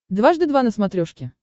дважды два на смотрешке